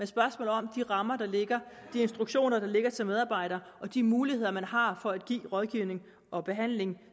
spørgsmål om de rammer der ligger de instruktioner der ligger til medarbejderne og de muligheder man har for at give rådgivning og behandling